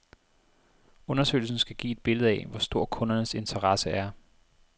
Undersøgelsen skal give et billede af, hvor stor kundernes interesse er.